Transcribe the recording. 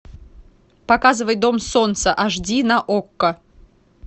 показывай дом солнца аш ди на окко